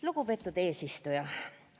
Lugupeetud eesistuja!